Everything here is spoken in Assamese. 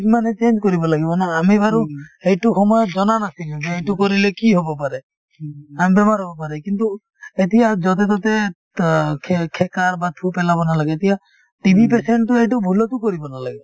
মানে change কৰিব লাগিব মানে আমি বাৰু সেইটো সময়ত জনা নাছিলো যে এইটো কৰিলে কি হব পাৰে আন বেমাৰ হব পাৰে কিন্তু এতিয়া যতে-ততে ত খে খেকাৰ বা থু পেলাব নালাগে এতিয়া TB patient তোয়েতো সেইটো ভূলতো কৰিব নালাগে